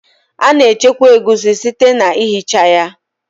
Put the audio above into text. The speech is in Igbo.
A na-echekwa egusi site na ihicha ya